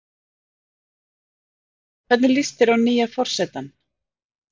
Þórhildur: Hvernig líst þér á nýja forsetann?